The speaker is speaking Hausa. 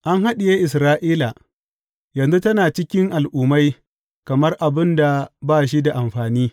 An haɗiye Isra’ila; yanzu tana cikin al’ummai kamar abin da ba shi da amfani.